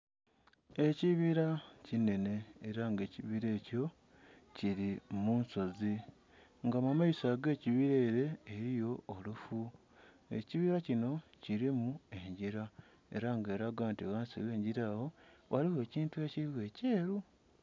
Ekibila kinhenhe ela nga ekibila ekyo kili mu nsozi nga mu maiso ag'ekibila ele eliyo olufu. Ekibila kino kilimu engila, ela nga elaga nti ghansi agh'engila agho ghaligho ekintu ekiligho ekyeru.